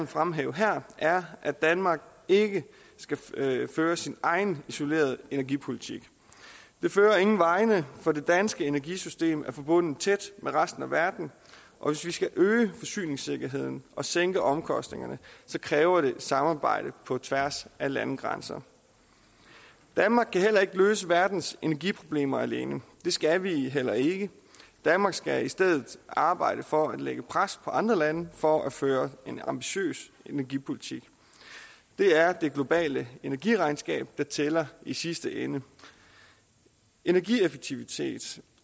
fremhæve her er at danmark ikke skal føre sin egen isolerede energipolitik det fører ingen vegne for det danske energisystem er forbundet tæt med resten af verden og hvis vi skal øge forsyningssikkerheden og sænke omkostningerne kræver det samarbejde på tværs af landegrænser danmark kan heller ikke løse verdens energiproblemer alene det skal vi heller ikke danmark skal i stedet arbejde for at lægge pres på andre lande for at føre en ambitiøs energipolitik det er det globale energiregnskab der tæller i sidste ende energieffektivitet